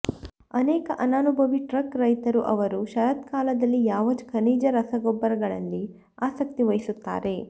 ಅನೇಕ ಅನನುಭವಿ ಟ್ರಕ್ ರೈತರು ಅವರು ಶರತ್ಕಾಲದಲ್ಲಿ ಯಾವ ಖನಿಜ ರಸಗೊಬ್ಬರಗಳಲ್ಲಿ ಆಸಕ್ತಿ ವಹಿಸುತ್ತಾರೆ